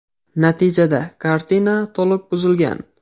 Natijada kartina to‘liq buzilgan.